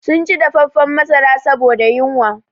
Sun ci dafaffan masara saboda yunwa